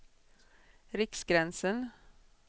Riksgränsen